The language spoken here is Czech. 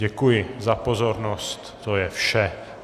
Děkuji za pozornost, to je vše.